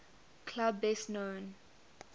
club best known